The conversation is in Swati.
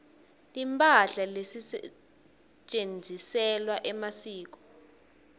timphahla letisetjentiselwa emasiko